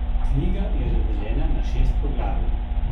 Knjiga je razdeljena na šest poglavij.